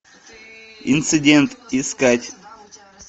инцидент искать